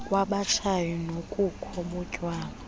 kwabatshayi nobukho botywala